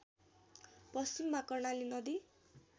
पश्चिममा कर्णाली नदी